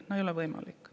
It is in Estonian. No nii ei ole võimalik.